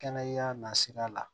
Kɛnɛya nasira la